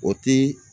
O ti